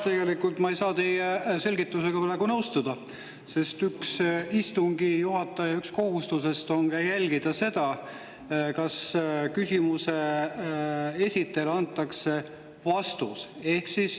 Tegelikult ma ei saa teie selgitusega nõustuda, sest üks istungi juhataja kohustusi on jälgida seda, kas küsimuse esitajale antakse vastus.